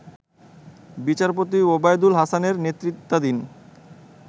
বিচারপতি ওবায়দুল হাসানের নেতৃত্বাধীন